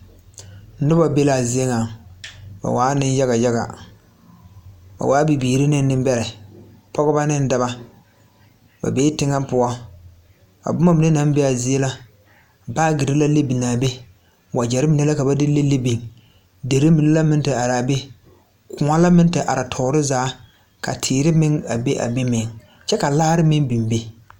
Nobɔ be laa zie ŋa ba waa neŋ yaga yaga ba waa bibiire ne neŋbɛrɛ pɔgebɔ neŋ dɔbɔ ba bee teŋɛ poɔ a bomma mine naŋ bee aa zie la baagyirre la le biŋaa be wagyɛrre mine la ja ba de le le be derre meŋ la meŋ te araa be kõɔ la meŋ are toore zaa ka teere meŋ a be a be meŋ kyɛ ka laare meŋ biŋ be.